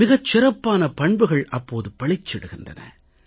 மிகச் சிறப்பான பண்புகள் அப்போது பளிச்சிடுகின்றன